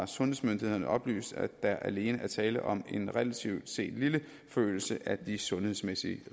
sundhedsmyndighederne har oplyst at der alene er tale om en relativt set lille forøgelse af de sundhedsmæssige